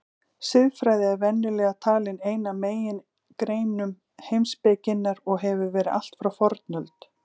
Siðfræði er venjulega talin ein af megingreinum heimspekinnar og hefur verið allt frá fornöld.